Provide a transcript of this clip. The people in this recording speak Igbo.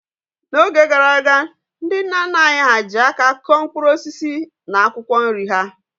N'oge gara aga, ndị nna nna anyị ha ji aka kụọ mkpụrụ osisi na akwụkwọ nri ha.